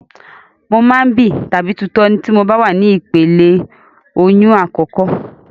Mo máa ń bì tàbí tutọ́ tí mo bá wà ní ìpele ìlóyún àkọ́kọ́.